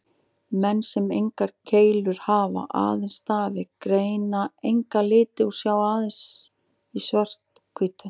Menn sem engar keilur hafa, aðeins stafi, greina enga liti og sjá aðeins í svart-hvítu.